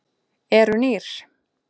Eru nýr?